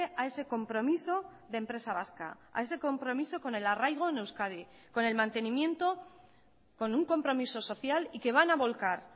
a ese compromiso de empresa vasca a ese compromiso con el arraigo en euskadi con el mantenimiento con un compromiso social y que van a volcar